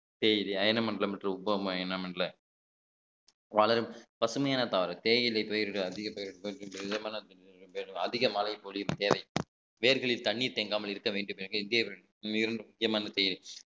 தேயிலை அயன மண்டலம் மற்றும் உபகரண அயன மண்டல பசுமையான தாவரம் தேயிலை பயிர்கள் அதிக பயிர்கள் அதிக மழை பொழியும் வேர்களில் தண்ணீர் தேங்காமல் இருக்க வேண்டும் என்று இந்தியர்கள்